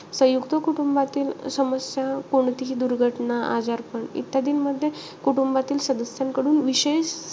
संयुक्त कुटुंबातील समस्या कोणतीही दुर्घटना, आजारपण इत्यादींमध्ये कुटुंबातील सदस्यांकडून विशेष,